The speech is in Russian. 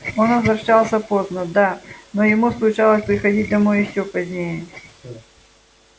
он возвращался поздно да но ему случалось приходить домой ещё позднее